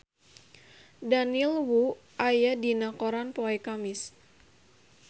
Daniel Wu aya dina koran poe Kemis